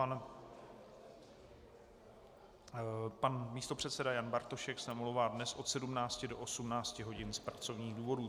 A pan místopředseda Jan Bartošek se omlouvá dnes od 17 do 18 hodin z pracovních důvodů.